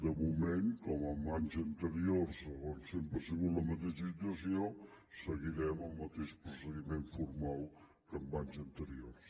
de moment com en anys anteriors on sempre ha sigut la mateixa situació seguirem el mateix procediment formal que en anys anteriors